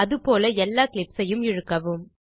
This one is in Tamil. அது போல எல்லா கிளிப்ஸ் ஐயும் இழுக்கவும்